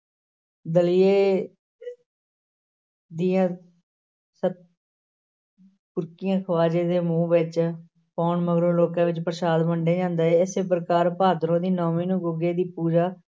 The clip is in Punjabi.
ਦਲੀਏ ਦੀਆਂ ਸ~ ਬੁਰਕੀਆਂ ਖ਼ਵਾਜੇ ਦੇ ਮੂੰਹ ਵਿਚ ਪਾਉਣ ਮਗਰੋਂ ਲੋਕਾਂ ਵਿੱਚ ਪ੍ਰਸਾਦ ਵੰਡਿਆ ਜਾਂਦਾ, ਇਸੇ ਪ੍ਰਕਾਰ ਭਾਦਰੋਂ ਦੀ ਨੌਵੀਂ ਨੂੰ ਗੁੱਗੇ ਦੀ ਪੂਜਾ